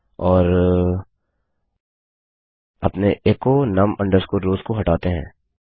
और अपने एचो num rows को हटाते हैं